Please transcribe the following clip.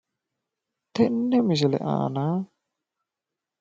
tenne misile aana